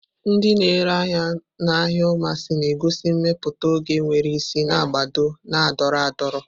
Ndị na-ere ahịa n'ahịa umumasi na-egosi mmepụta oge nwere isi na agba na-adọrọ adọrọ.